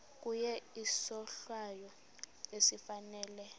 kuye isohlwayo esifanele